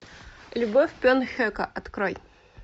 любовь бен хека открой